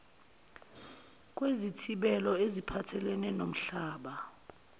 kwezithibelo eziphathelene nomhlaba